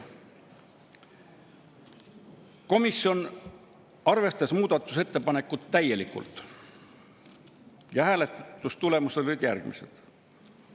Komisjon arvestas muudatusettepanekut täielikult ja hääletustulemused olid järgmised.